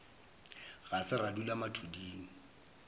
ga se ra dula mathuding